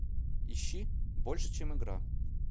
ищи больше чем игра